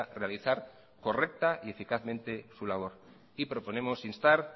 realizar correcta y eficazmente su labor y proponemos instar